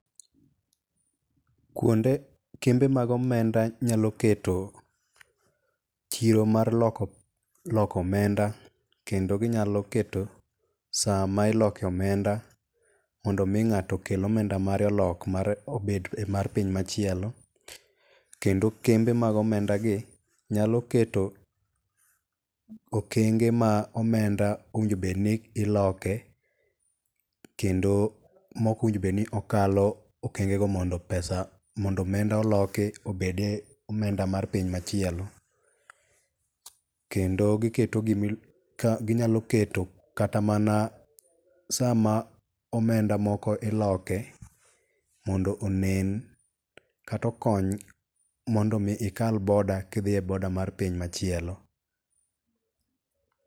kuonde kembe mag omenda nyalo keto chiro mar loko omenda kendo ginyalo keto saa ma iloke omenda mondo mi ng'ato okel omenda mare olok obed mar piny machielo kendo kembe mag omenda gi nyalo keto okenge ma omenda owinjo bed ni iloke kendo ma ok owinjo obed ni okalo okeng'e go mondo omenda oloki obede omenda mar piny machielo kendo ginyalo keto kata mana sama omenda moko iloke mondo onen kata okony mondo mi ikal boda ka idhiye boda mar piny machielo